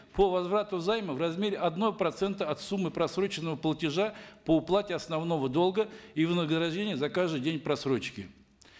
по возврату займа в размере одного процента от суммы просроченного платежа по уплате основного долга и вознаграждение за каждый день просрочки